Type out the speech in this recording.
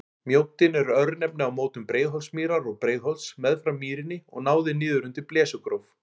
Mjóddin er örnefni á mótum Breiðholtsmýrar og Breiðholts, meðfram mýrinni og náði niður undir Blesugróf.